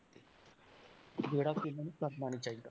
ਜਿਹੜਾ ਕਿ ਇਹਨਾਂ ਨੂੰ ਕਰਨਾ ਨੀ ਚਾਹੀਦਾ।